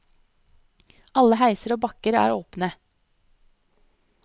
Alle heiser og bakker er åpne.